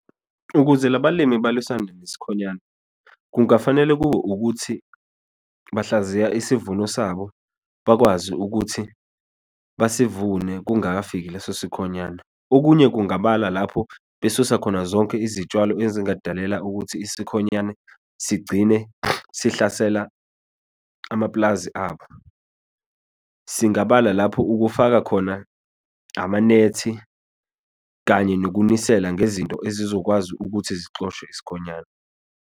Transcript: Ukuze labalimi balwisane nesikhonyane, kungafanele kube ukuthi, bahlaziye isivuno sabo, bakwazi ukuthi basivune kungakafiki leso sikhonyane. Okunye, kungabala lapho besusa khona zonke izitshalo ezingadalela ukuthi isikhonyane sigcine sihlasela amapulazi abo. Singabala lapho, ukufaka khona amanethi, kanye nokunisela ngezinto ezizokwazi ukuthi zixoshe isikhonyane.